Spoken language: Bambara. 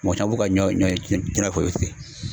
Mɔgɔ caman b'u ka ɲɔ ɲɔ tigɛ